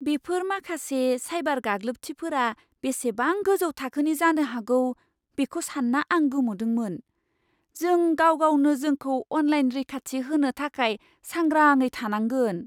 बेफोर माखासे साइबार गाग्लोबथिफोरा बेसेबां गोजौ थाखोनि जानो हागौ बेखौ सानना आं गोमोदोंमोन। जों गाव गावनो जोंखौ अनलाइन रैखाथि होनो थाखाय सांग्राङै थानांगोन।